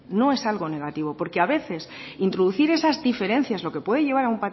no es algo negativo porque a veces introducir esas diferencias lo que puede llevar a